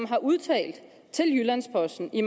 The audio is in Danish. har udtalt til jyllands posten i